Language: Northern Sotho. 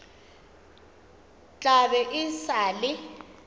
tla be e sa le